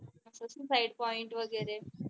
side point वगैरे